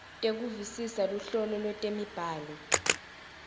tekuvisisa luhlobo lwetemibhalo